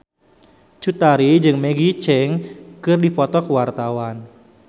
Cut Tari jeung Maggie Cheung keur dipoto ku wartawan